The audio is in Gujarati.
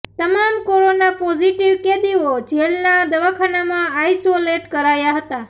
તમામ કોરોના પોઝિટિવ કેદીઓ જેલના દવાખાનામાં આઈસોલેટ કરાયા હતા